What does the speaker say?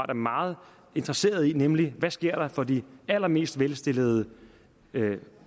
meget interesseret i nemlig hvad der sker for de allermest velstillede